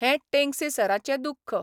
हें टेंगसे सराचें दुख्ख.